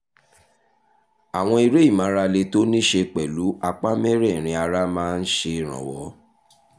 àwọn eré ìmárale tó ní í ṣe pẹ̀lú apá mẹ́rẹ̀ẹ̀rin ara máa ń ṣèrànwọ́